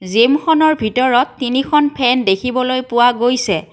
জিমখনৰ ভিতৰত তিনিখন ফেন দেখিবলৈ পোৱা গৈছে।